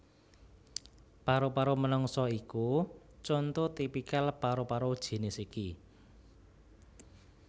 Paru paru menungsa iku conto tipikal paru paru jinis iki